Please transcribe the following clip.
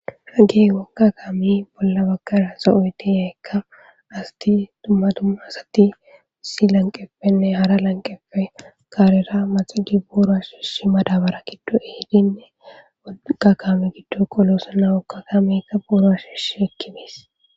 hagey wokka kaami bolla bakara sa ooyti yeekka asati tumma tumma asati si lanqeppenne hara lanqefe kaarera maxigi buoro ashishi madabara giddo ehidinne woqa kame giddo qoloosana wokka kamikka buuro ashishi ekkibes